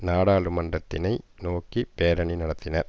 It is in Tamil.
நாடாளுமன்றத்தினை நோக்கி பேரணி நடத்தினர்